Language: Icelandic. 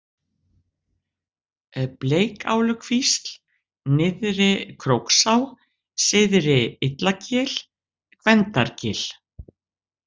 Bleikálukvísl, Nyrðri-Króksá, Syðra-Illagil, Gvendargil